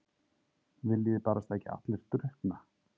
Viljiði barasta ekki allir drukkna?